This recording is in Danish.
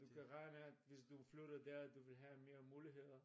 Du kan regne med hvis du flytter der du vil have mere muligheder